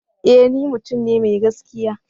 Ee! ni mutum ne mai gaskiya.